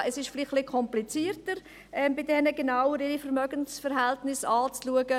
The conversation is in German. Es ist vielleicht etwas komplizierter, bei diesen die genaueren Vermögensverhältnisse anzuschauen.